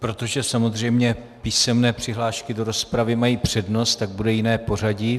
Protože samozřejmě písemné přihlášky do rozpravy mají přednost, tak bude jiné pořadí.